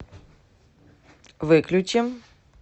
выключи